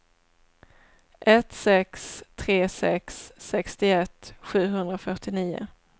ett sex tre sex sextioett sjuhundrafyrtionio